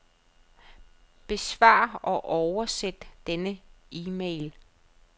Besvar og oversæt denne e-mail.